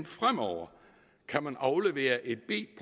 fremover kan man aflevere et b